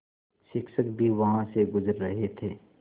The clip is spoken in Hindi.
शिक्षक भी वहाँ से गुज़र रहे थे